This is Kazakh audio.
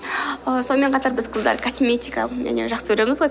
ааа сонымен қатар біз қыздар косметика және жақсы көреміз ғой